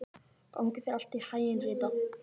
Gangi þér allt í haginn, Rita.